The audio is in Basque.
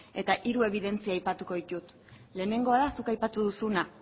eta hiru ebidentzia aipatuko ditut lehenengoa da zuk aipatu duzuna